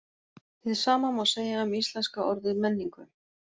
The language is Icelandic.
Hið sama má segja um íslenska orðið menningu.